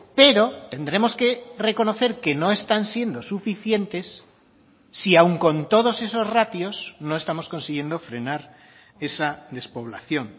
pero tendremos que reconocer que no están siendo suficientes si aún con todos esos ratios no estamos consiguiendo frenar esa despoblación